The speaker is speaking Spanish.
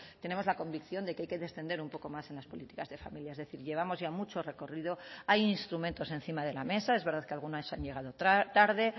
tenemos la convicción de que hay que descender un poco más en las políticas de familia es decir llevamos ya mucho recorrido hay instrumentos encima de la mesa es verdad que algunas han llegado tarde